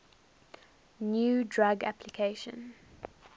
new drug application